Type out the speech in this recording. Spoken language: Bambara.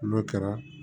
N'o kɛra